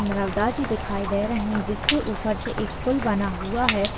गंगा जी दिखाई दे रही है जिसके ऊपर से एक पुल बना हुआ है।